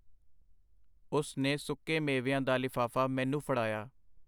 ਉਸ ਨੇ ਸੁੱਕੇ ਮੇਵਿਆਂ ਦਾ ਲਿਫਾਫਾ ਮੈਨੂੰ ਫੜਾਇਆ.